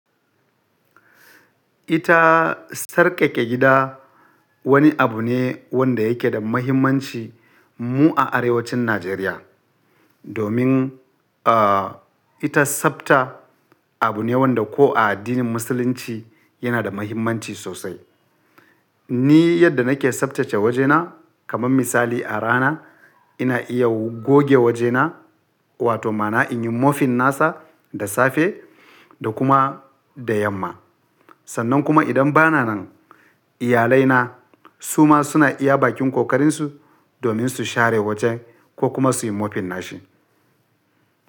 Ita sarƙaƙƙe gida wani abu ne wanda yake da mahimmanci mu a arewacin Najeriya. Domin, ah, ita tsabta abu ne wanda ko a addinin musulunci yana da mahimmanci sosai. Ni yadda nake tsabtace wajena kaman misali a rana ina iya goge wajena, wato ma na in yi mofin nasa da safe da kuma da yamma. Sannan kuma idan bana nan, iyalaina su ma suna iya bakin ƙoƙarinsu domin su share wajen, ko kuma su yi mofin nashi.